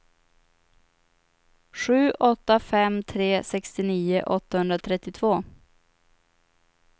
sju åtta fem tre sextionio åttahundratrettiotvå